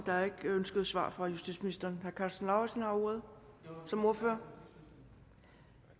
der er ikke ønske om svar fra justitsministeren herre karsten lauritzen har ordet som ordfører